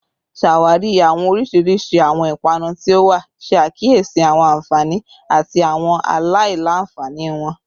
Ṣawari awọn oriṣiriṣi awọn ipanu ti o wa, ṣe akiyesi awọn anfani ati awọn alailanfani wọn